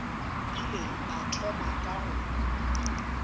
ile a thoma ka go